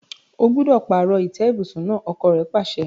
O gbúdọ̀ pààrọ̀ ìtẹ́ ibùsùn náà! ọkọ́ rẹ̀ pàṣẹ.